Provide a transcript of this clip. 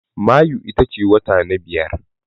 Mayu ita ce wata na biyar.